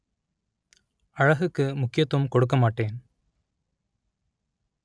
அழகுக்கு முக்கியத்துவம் கொடுக்கமாட்டேன்